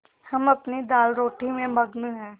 हम अपनी दालरोटी में मगन हैं